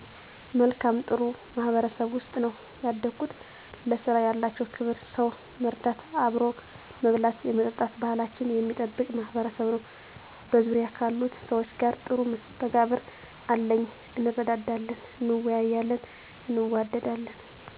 መልካም እና ጥሩ ማህበረሰብ ውስጥ ነው ያደኩት። ለስራ ያላቸው ክብር ሰው ለመርዳት አብሮ መብላት የመጠጣት ባሕላችንን የሚጠብቅ ማሕበረሰብ ነው። በዙርያ ካሉት ሰዎች ጋር ጥሩ መስተጋብር አለኚ እንረዳዳለን እንወያያለን እንዋደዳለን።